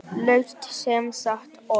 Laust samsett orð